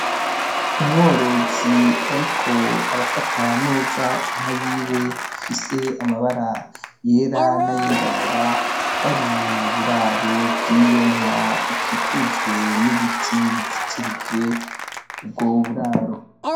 Umworozi ariko arafata neza inka yiwe ifise amabara yera n'ayirabura bari mu buraro bwiyo nka ikikujwe n'ibiti bizitirije ubwo buraro.